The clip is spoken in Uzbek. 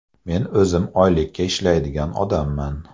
Men o‘zim oylikka ishlaydigan odamman.